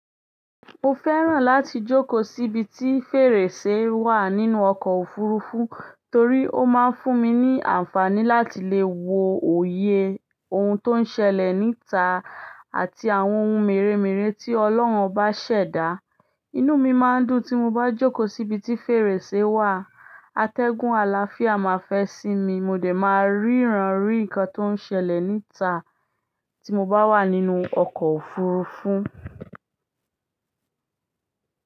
Mo fẹ́ràn láti jókòó síbi tí fèrèsé wà nínú ọkọ̀ òfurufú torí ó máa ń fún mi ní àǹfààní láti lè wo òye ohun tó ń ṣẹlẹ̀ níta àti àwọn ohun mèremère tí Ọlọ́run bá ṣẹ̀dá. Inú mi máa ń dùn tí mo bá jókòó síbi tí fèrèsé wà. Atẹ́gùn àlàáfíà máa fẹ́ sí mi, mo dẹ̀ máa ríran rí nǹkan tó ń ṣẹlẹ̀ níta tí mo bá wà nínú ọkọ̀ òfurufú.